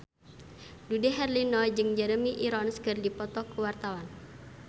Dude Herlino jeung Jeremy Irons keur dipoto ku wartawan